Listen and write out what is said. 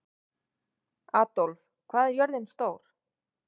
Adolf, hvað er jörðin stór?